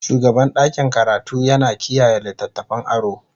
shugaban ɗakin karatu yana kiyaye littattafan aro.